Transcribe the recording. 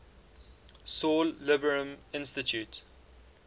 saul lieberman institute